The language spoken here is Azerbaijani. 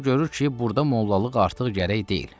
Sonra görür ki, burda mollalıq artıq gərək deyil.